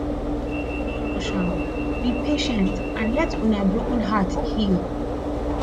no rush am be patient and let una broken heart heal